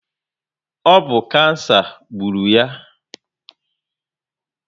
Ọ bụ kansa gburu ya